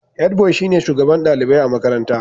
Head boy shine shugaban dalibai a makarantar.